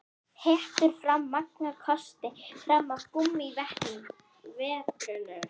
Hettur hafa marga kosti fram yfir gúmmíverjurnar.